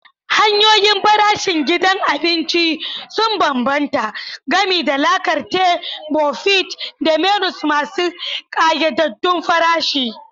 Hanyoyin farashin gidan abinci sun bambanta, gami da la carte, buffet, da menus masu ƙayyadaddun farashi.